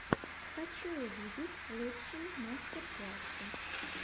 хочу увидеть лучшие мастер классы